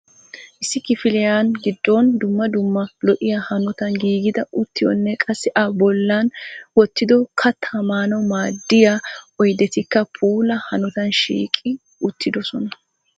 Issi kifiliyaan giddon dumma dumma lo"iyaa hanotan giigida uttiyonne qassi a bolli wottidi kattaa maanawu maaddiyaa oyddetikka puula hanotan shiiqi uttidoosona.